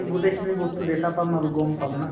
গোটেই খিনি বস্তু দেখা পাম আৰু গম পাম ন